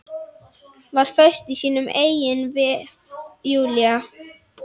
Var föst í sínum eigin vef, Júlía.